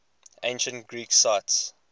ancient greek sites